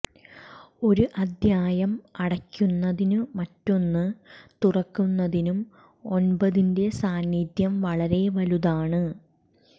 ഒരു അദ്ധ്യായം അടയ്ക്കുന്നതിനും മറ്റൊന്ന് തുറക്കുന്നതിനും ഒന്പതിന്റെ സാന്നിധ്യം വളരെ വലുതാണ്